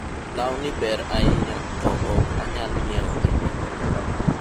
lawni ber ahinya to ok anyal nyiewo gi nengo ni